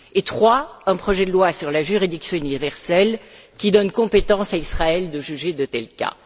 Troisièmement, un projet de loi sur la juridiction universelle, qui donne compétence à Israël de juger de tels cas.